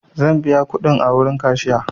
Zan biya kuɗin a wurin kashiya.